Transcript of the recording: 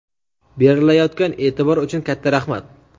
berilayotgan eʼtibor uchun katta rahmat!.